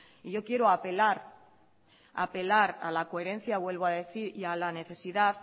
y yo quiero apelar a la coherencia y a la necesidad